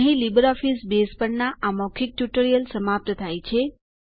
અહીં LibreOffice Base પરના આ મૌખિક ટ્યુટોરીયલનો અંત થાય છે